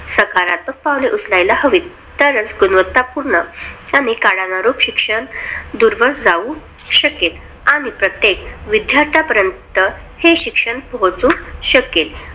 सकारात्मक पाऊले उचलायला हवीत. तरचं गुणवत्तापूर्ण आणि कानरुक शिक्षण दूरवर जाऊ शकेल. आणि प्रत्येक विद्यार्थ्यांपर्यंत हे शिक्षण पोहचू शकेल.